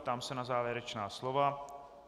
Ptám se na závěrečná slova.